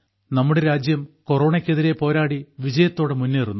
നമ്മുടെ രാജ്യം കൊറോണയ്ക്കെതിരെ പോരാടി വിജയത്തോടെ മുന്നേറുന്നു